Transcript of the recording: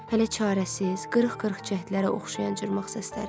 Hələ çarəsiz, qırıq-qırıq cəhdlərə oxşayan cırmaq səsləri.